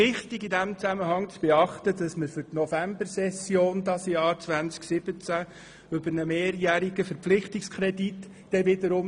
Wichtig ist in diesem Zusammenhang, dass wir in der Novembersession 2017 diesbezüglich über einen mehrjährigen Verpflichtungskredit abstimmen.